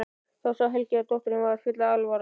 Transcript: Þá sá Helgi að dótturinni var full alvara.